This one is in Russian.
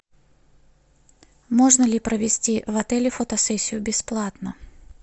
можно ли провести в отеле фотосессию бесплатно